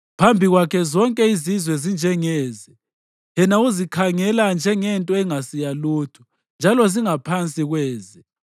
Phambi kwakhe zonke izizwe zinjengeze; yena uzikhangela njengento engasi yalutho njalo zingaphansi kweze.